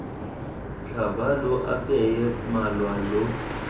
tlhaba lo apeye malwa lo